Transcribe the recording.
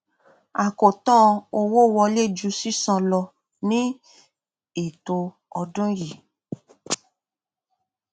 àkótán owó wọlé ju sísan lọ ní ètò ọdún yìí